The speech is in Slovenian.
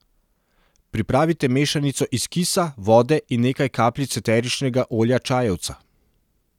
Pripravite mešanico iz kisa, vode in nekaj kapljic eteričnega olja čajevca.